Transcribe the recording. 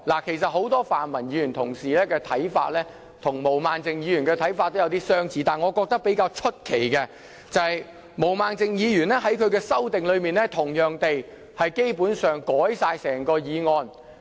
其實很多泛民議員的看法跟毛孟靜議員的看法有點相似。但是，我覺得比較奇怪的是，毛孟靜議員在她的修訂裏面同樣地，基本上修改了整項原議案。